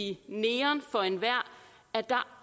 i neon for enhver at der